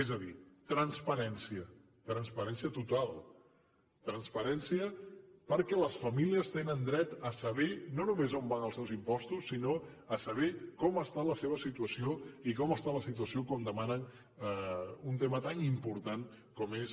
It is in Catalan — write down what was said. és a dir transparència transparència total transparència perquè les famílies tenen dret a saber no només on van els seus impostos sinó a saber com està la seva situació i com està la situació quan demanen un tema tan important com és